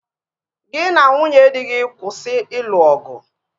Gị na nwunye dị gị kwụsị ịlụ ọgụ!